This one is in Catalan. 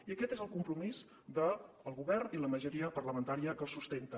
i aquest és el compromís del govern i la majoria parlamentària que el sustenta